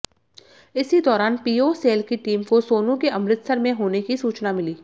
इसी दौरान PO cell की टीम को सोनू के अमृतसर में होने की सूचना मिली